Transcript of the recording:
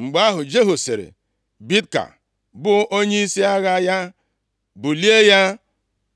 Mgbe ahụ, Jehu sịrị Bidka, bụ onyeisi agha ya, “Bulie ya,